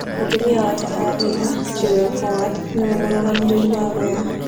Mũtumia wa tene wa Taylor, Jiwel Howard, nĩ we mũrũgamĩrĩri wa Weah.